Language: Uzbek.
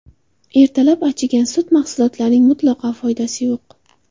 Ertalab achigan sut mahsulotlarining mutlaqo foydasi yo‘q.